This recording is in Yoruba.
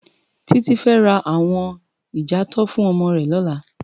Titi fè rá áwòn ijàátò fún òmò rè lòlá